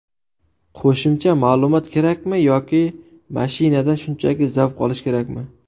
Qo‘shimcha ma’lumot kerakmi yoki mashinadan shunchaki zavq olish kerakmi?